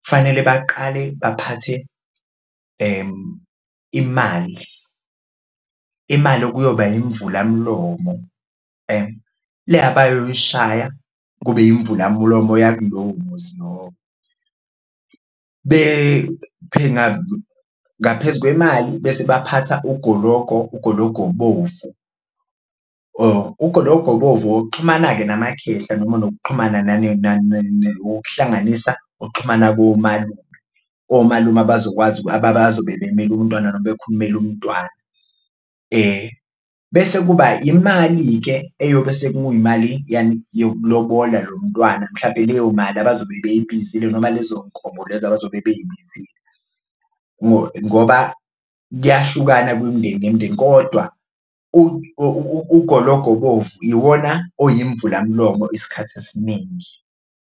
kufanele baqale baphathe imali, imali okuyoba imvulamlomo le abayoyishaya kube yimvulamlomo yakulowo muzi lowo ngaphezu kwemali bese baphatha ugologo, ugologo obovu. Ugologo obovu owokuxhumana-ke namakhehla noma nokuxhumana owokuhlanganisa ukuxhumana komalume, omalume abazokwazi abazobe bemele umntwana noma bekhulumela umntwana bese kuba imali-ke, eyobe sekuyimali yani? Yokulobola lo mntwana mhlampe leyo mali abazobe beyibizile noma lezo nkomo lezo abazobe beyibizile ngoba kuyahlukana kwimindeni nemindeni kodwa ugologo obovu yiwona oyimvulamlomo isikhathi esiningi.